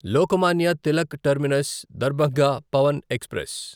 Lokmanya Tilak terminus Darbhanga Pawan express